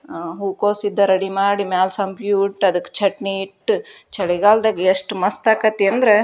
ಆ ಹೂಕೋಸಿಂದ ರೆಡಿ ಮಾಡಿ ಮೇಲೆ ಸಂ ಕ್ಯೂಟ್ ಇಟ್ಟು ಅದಕ್ಕೆ ಚಟ್ನಿ ಇತ್ತು ಚಳಿಗಾಲದಲ್ಲಿ ಎಷ್ಟು ಮಸ್ತ ಆಗ್ತಿದೆ ಅಂದ್ರೆ --